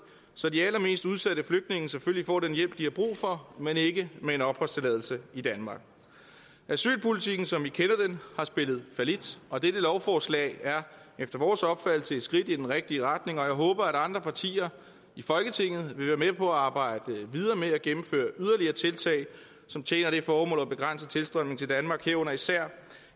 så de allermest udsatte flygtninge selvfølgelig får den hjælp de har brug for men ikke med en opholdstilladelse i danmark asylpolitikken som vi kender den har spillet fallit og dette lovforslag er efter vores opfattelse et skridt i den rigtige retning jeg håber at andre partier i folketinget vil være med på at arbejde videre med at gennemføre yderligere tiltag som tjener det formål at begrænse tilstrømningen til danmark herunder især